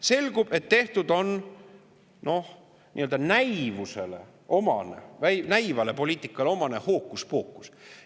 Selgub, et tehtud on nii-öelda näivusele omane, näivale poliitikale omane hookuspookus.